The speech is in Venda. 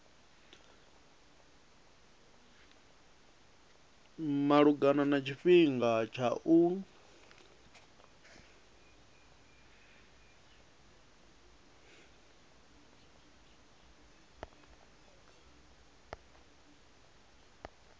malugana na tshifhinga tsha u